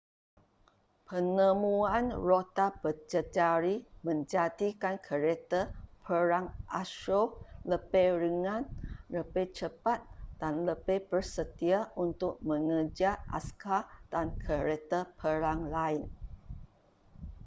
penemuan roda berjejari menjadikan kereta perang asyur lebih ringan lebih cepat dan lebih bersedia untuk mengejar askar dan kereta perang lain